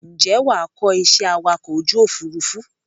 Ǹjẹ́ wàá kọ iṣẹ́ awakọ̀ ojú Òfurufú?